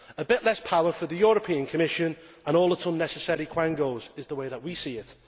A bit less power for the European Commission and all its unnecessary quangos is the way that we see it.